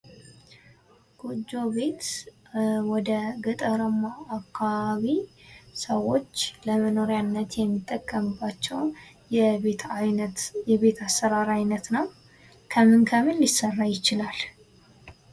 ጎጆ ቤት ወደ ገጠራማ አካባቢ ሰዎች ለመኖሪያነት የሚጠቀምባቸው የቤት አሠራር ዓይነት ነው። ከምንም ከምን ሊሰራ ይችላል?